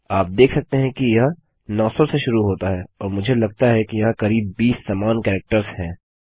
आप देख सकते हैं कि यह नौ सौ से शुरू होता है और मुझे लगता है कि यहाँ करीब 20 समान कैरेक्टर्स हैं